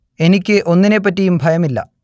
എനിക്ക് ഒന്നിനെപ്പറ്റിയും ഭയമില്ല